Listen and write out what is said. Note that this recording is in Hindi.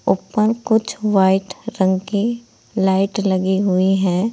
ऊपर कुछ वाइट रंग की लाइट लगी हुई है।